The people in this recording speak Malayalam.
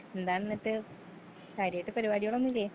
എന്താണിന്നിട്ട് കാര്യായിട്ട് പരുപാടിയൊന്നുല്ലേ.